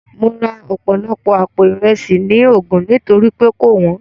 Mo ra ọ̀pọ̀lọpọ̀ àpò Ìresì ní Ogun nítorí pé kò wọ́n